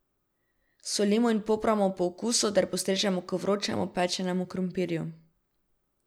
Solimo in popramo po okusu ter postrežemo k vročemu pečenemu krompirju.